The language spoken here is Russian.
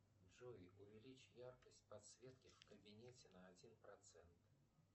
джой увеличь яркость подсветки в кабинете на один процент